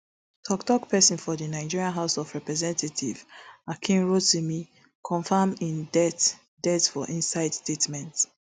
toktok pesin for di nigeria house of representatives akin rotimi confam im death death for inside statement